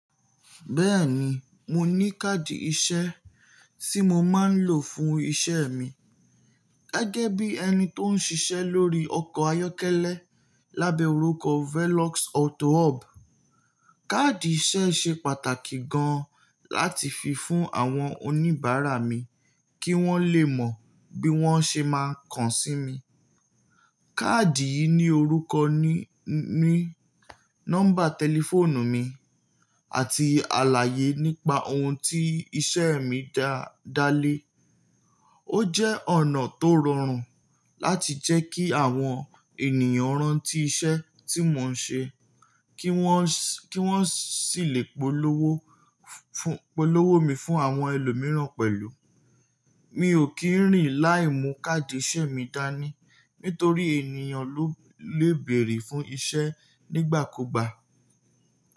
Bẹ́ẹ̀ni, mo ní káàdì iṣẹ́ tí mo máa ń lò fún iṣẹ́ mi gẹ́gẹ́ bí ẹni tó ń ṣiṣẹ́ lórí ọkọ̀ ayọ́kẹ́lẹ́ lábẹ́ orúkọ Velox Auto Hub. Káàdì iṣẹ́ ṣe pàtàkì gan láti fi fún àwọn oníbàárà mi kí wọ́n lè mọ bí wọ́n ṣé máa kan sí mi. Káàdì yìí ní orúkọ mi, nọ́mbà tẹlifóònù mi, àti àlàyé nípa ohun tí iṣẹ́ mi dá lé. Ó jẹ́ ọ̀nà tó rọrùn láti jẹ́ kí àwọn ènìyàn rántí iṣẹ́ tí mò ń ṣe, kí wọ́n sì lè polówó mi fún àwọn ẹlòmíràn pẹ̀lú. Mi ò kí ń rìn láìmu káàdì iṣẹ́ mi dání, nítorí ènìyàn lè bèèrè fún iṣẹ́ nígbàkúgbà.